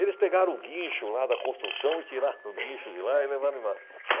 Eles pegaram o guincho lá da construção e tiraram o guincho de lá e levaram embora. .